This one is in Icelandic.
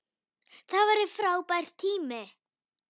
Það var frábær tími.